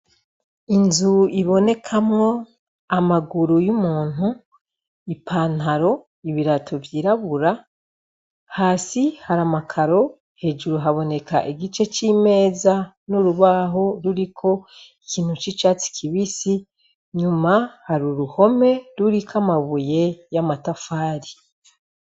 Inzu ibonekamwo amaguru y'umuntu ipantaro ibirato vyirabura hasi hariamakaro hejuru haboneka igice c'imeza n'urubaho ruriko ikintu c'icatsi kibisi nyuma hari uruhome ruriko amabuye ya matafari.